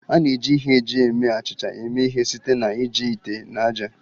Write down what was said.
A na-eji ihe eji eme achịcha eme ihe site na iji ite na ájá